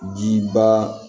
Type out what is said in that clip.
Ji ba